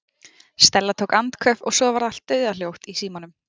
Stella tók andköf og svo varð allt dauðahljótt í símanum.